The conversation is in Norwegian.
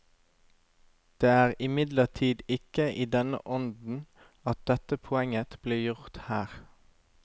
Det er imidlertid ikke i denne ånden at dette poenget blir gjort her.